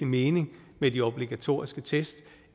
mening med de obligatoriske test